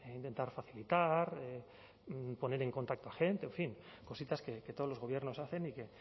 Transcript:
intentar facilitar poner en contacto a gente en fin cositas que todos los gobiernos hacen y que